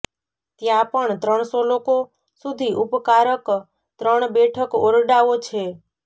ત્યાં પણ ત્રણસો લોકો સુધી ઉપકારક ત્રણ બેઠક ઓરડાઓ છે